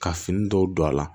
Ka fini dɔw don a la